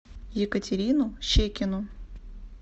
екатерину щекину